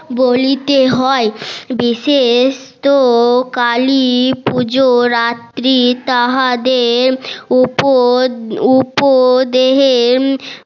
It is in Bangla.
বলিতে হয় বিশেষ তো কালী পূজোর রাত্রি তাহাদের উপর উপর দেহে বলিতে হয়